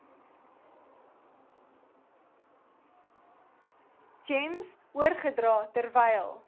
gems oorgedra terwyl